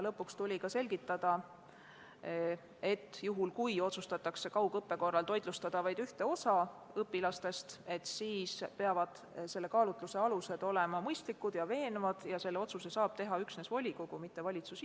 Lõpuks tuli selgitada, et juhul, kui kaugõppe korral otsustatakse toitlustada vaid ühte osa õpilastest, peavad selle kaalutluse alused olema mõistlikud ja veenvad ning selle otsuse saab teha üksnes volikogu, mitte valitsus.